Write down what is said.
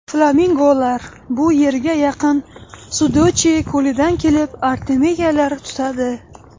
Flamingolar bu yerga yaqin Sudochye ko‘lidan kelib, artemiyalar tutadi.